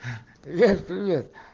привет привет